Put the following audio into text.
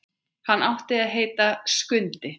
Hann átti að heita Skundi.